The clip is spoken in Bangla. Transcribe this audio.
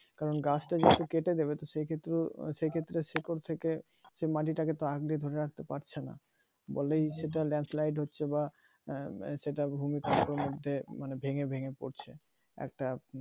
কারণ গাছটা যেহেতু কেটে দেবে তো সে ক্ষেত্রেও সে ক্ষেত্রে শিকড় থেকে সে মাটি টাকে তো আঁকড়ে ধরে রাখতে পারছে না বলে বলেই সেটা lance light হচ্ছে বা সেটা ভূমিকম্প মধ্যে মানে ভেঙ্গে ভেঙ্গে পড়ছে একটা